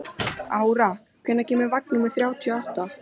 Ára, hvenær kemur vagn númer þrjátíu og átta?